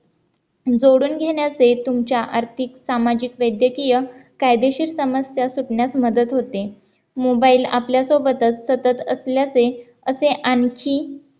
जोडून घेण्याचे तुमच्या आर्थिक सामाजिक वैद्यकीय कायदेशीर समस्या सुटण्यास मदत होते mobile आपल्या सोबतच सतत असल्याचे असे आणखी